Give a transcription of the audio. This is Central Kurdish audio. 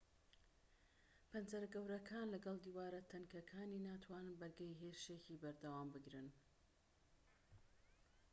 پەنجەرە گەورەکانی لەگەڵ دیوارە تەنکەکانی ناتوانن بەرگەی هێرشێکی بەردەوام بگرن